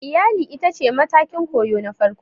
Iyali ita ce matakin koyo na farko